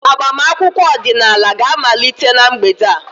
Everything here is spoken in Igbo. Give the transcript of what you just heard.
Agbamakwụkwọ ọdịnala ga-amalite na mgbede a.